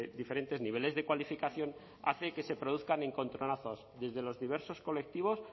diferentes niveles de cualificación hace que se produzcan encontronazos desde los diversos colectivos